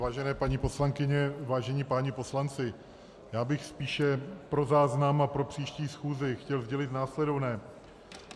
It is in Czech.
Vážené paní poslankyně, vážení páni poslanci, já bych spíše pro záznam a pro příští schůzi chtěl sdělit následovné.